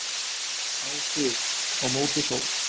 Á þig, Á móti sól.